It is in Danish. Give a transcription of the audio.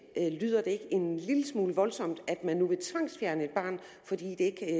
lyder det ikke en lille smule voldsomt at man nu vil tvangsfjerne et barn fordi det